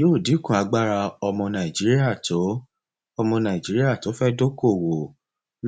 yóò dínkù agbára ọmọ nàìjíríà tó nàìjíríà tó fẹ dókòwó